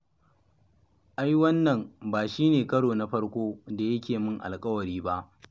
Ai wannan ba shi ne karo na farko da yake yi min alƙawari ba.